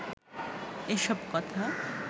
এসব কথা